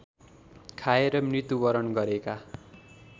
खाएर मृत्युवरण गरेका